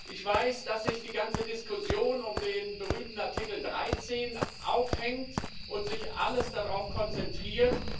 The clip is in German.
Ich weiß, dass sich die ganze Diskussion an dem berühmten Artikel 13 aufhängt und sich alles darauf konzentriert.